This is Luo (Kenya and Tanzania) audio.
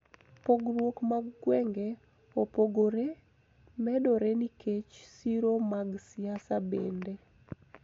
Pogruok mag gwenge opogore medore nikech siro mag siasa bende.